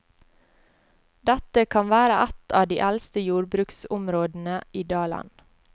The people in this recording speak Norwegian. Dette kan være ett av de eldste jordbruksområdene i dalen.